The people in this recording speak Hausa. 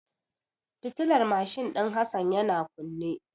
Fitilar mashin din Hassan yana kunne.